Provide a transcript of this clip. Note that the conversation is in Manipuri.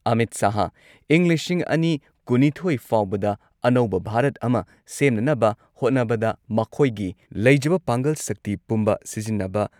ꯑꯃꯤꯠ ꯁꯍꯥꯍ ꯏꯪ ꯂꯤꯁꯤꯡ ꯑꯅꯤ ꯀꯨꯟꯅꯤꯊꯣꯏ ꯐꯥꯎꯕꯗ ꯑꯅꯧꯕ ꯚꯥꯔꯠ ꯑꯃ ꯁꯦꯝꯅꯅꯕ ꯍꯣꯠꯅꯕꯗ ꯃꯈꯣꯏꯒꯤ ꯂꯩꯖꯕ ꯄꯥꯡꯒꯜ ꯁꯛꯇꯤ ꯄꯨꯝꯕ ꯁꯤꯖꯤꯟꯅꯕ